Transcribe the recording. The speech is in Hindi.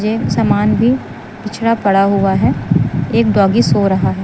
एक समान भी पिछड़ा पड़ा हुआ है एक डॉगी सो रहा है।